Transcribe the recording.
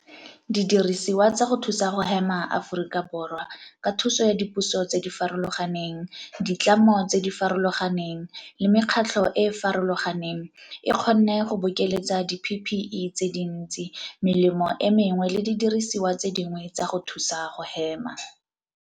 Didirisiwa tsa go thusa go hema Aforika Borwa, ka thuso ya dipuso tse di farologaneng, ditlamo tse di farologaneng le mekgatlho e e farologaneng, e kgonne go bokeletsa di-PPE tse dintsi, melemo e mengwe le didirisiwa tse dingwe tsa go thusa go hema.